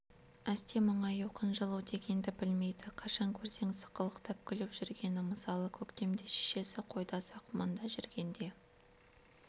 әсте мұңаю қынжылу дегенді білмейді қашан көрсең сықылықтап күліп жүргені мысалы көктемде шешесі қойда сақманда жүргенде